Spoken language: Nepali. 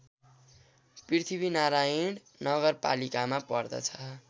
पृथ्वीनारायण नगरपालिकामा पर्दछ